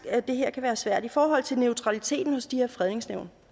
at det her kan være svært i forhold til neutraliteten hos de her fredningsnævn